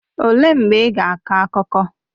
Olee mgbe ị ga-akọ akụkọ?